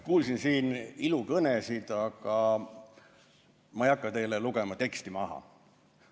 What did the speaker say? Kuulsin siin ilukõnesid, aga ma ei hakka teile teksti maha lugema.